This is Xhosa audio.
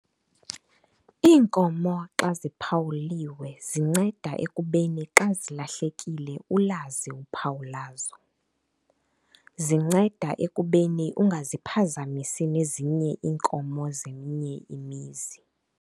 Iinkomo xa ziphawuliwe zinceda ekubeni xa zilahlekile ulazi uphawu lazo. Zinceda ekubeni ungaziphazamisi nezinye iinkomo zeminye imizi.